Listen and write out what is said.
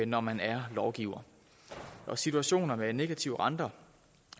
når man er lovgiver situationer med negativ rente